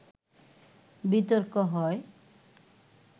বিতর্ক হয়